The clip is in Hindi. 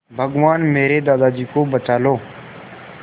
भगवान मेरे दादाजी को बचा लो